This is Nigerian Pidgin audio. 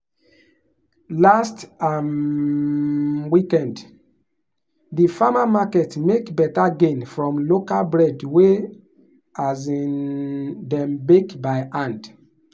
last um weekend di farmer market make better gain from local bread wey um dem bake by hand.